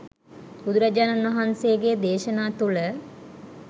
බුදුරජාණන් වහන්සේගේ දේශනා තුළ